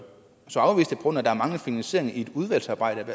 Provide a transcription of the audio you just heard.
så er det ikke